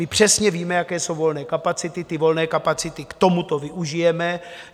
My přesně víme, jaké jsou volné kapacity, ty volné kapacity k tomuto využijeme.